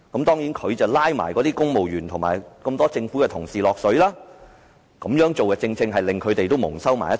當然，他也將公務員及多位政府同事"拉下水"，這樣也令他們蒙羞。